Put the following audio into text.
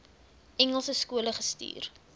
engelse skole gestuur